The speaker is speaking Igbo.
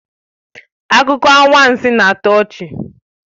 Akụkọ anwansi na-atọ ọchị